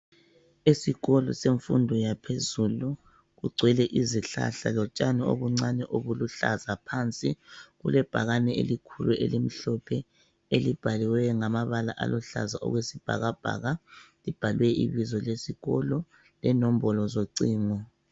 Esikolo semfundo yaphezulu kugcwele izihlahla lotshani obuncane obuluhlaza phansi kulebhakane elikhulu elimhlophe elibhaliweyo ngamabala aluhlaza okwesibhakabhaka libhalwe ibizo lesikolo lenombolo zocingo.